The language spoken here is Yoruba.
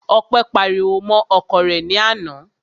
Ọpẹ́ pariwo mọ́ ọkọ rẹ̀ ní àná.